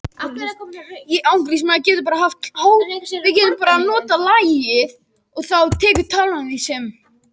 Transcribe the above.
Með samruna er hér átt við kjarnasamruna.